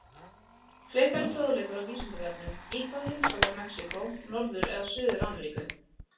Frekari fróðleikur á Vísindavefnum: Í hvaða heimsálfu er Mexíkó, Norður- eða Suður-Ameríku?